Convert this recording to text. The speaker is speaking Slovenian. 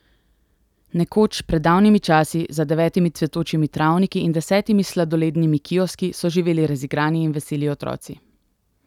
Nekoč, pred davnimi časi, za devetimi cvetočimi travniki in desetimi sladolednimi kioski, so živeli razigrani in veseli otroci.